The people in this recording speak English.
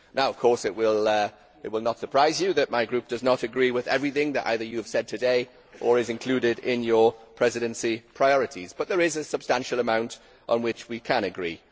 Now, of course, it will not surprise you that my group does not agree with everything that either you have said today or that is included in your Presidency priorities but there is a substantial amount on which we can agree.